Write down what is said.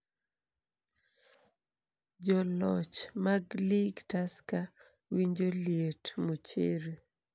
Joloch mag lig Tusker winjo liet, Muchiri